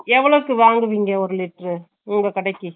எவ்ளோக்குனு வாங்குவிங்க ஒரு லிட்டர்ரூ உங்க கடைக்கு